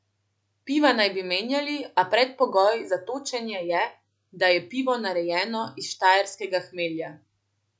Piva naj bi menjali, a predpogoj za točenje je, da je pivo narejeno iz štajerskega hmelja.